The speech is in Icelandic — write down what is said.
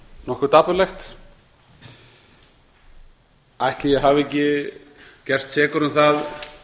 nokkuð dapurlegt ætli ég hafi ekki gerst sekur um það